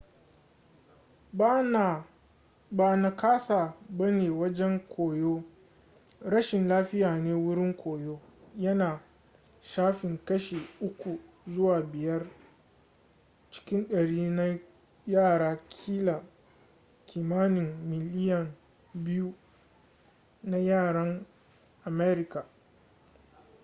ba nakasa bane wajen koyo rashin lafiya ne wurin koyo yana shafan kashi 3 zuwa 5 cikin dari na yara kila kimanin miliyan 2 na yaran america